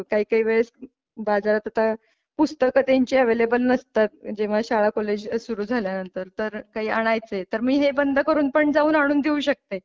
आता काही काही वेळेस बाजारात आता पुस्तक त्यांची अॅवेलेबल नसतात जेव्हा शाळा कॉलेज सुरु झाल्यानंतर तर काही आणायचं आहे तर मी हे बंद करून पण आणून देऊ शकते.